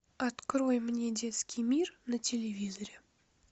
открой мне детский мир на телевизоре